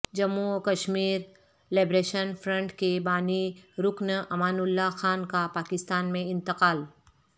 جموں وکشمیر liberation front کے بانی رکن امان اللہ خان کا پاکستان میں انتقال